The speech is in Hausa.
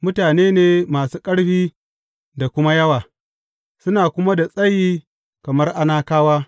Mutane ne masu ƙarfi da kuma yawa, suna kuma da tsayi kamar Anakawa.